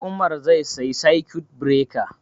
Umar zai siya circuit breaker